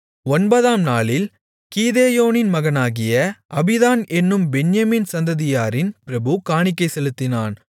ஒன்பதாம் நாளில் கீதெயோனின் மகனாகிய அபீதான் என்னும் பென்யமீன் சந்ததியாரின் பிரபு காணிக்கை செலுத்தினான்